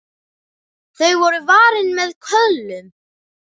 Þau voru varin með köðlum.